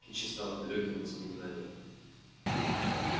кичи стала далёким воспоминанием